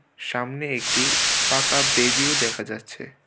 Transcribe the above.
সামনে একটি পাকা বেদিও দেখা যাচ্ছে.